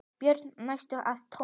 Börn hændust að Tomma.